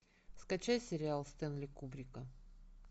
скачай сериал стэнли кубрика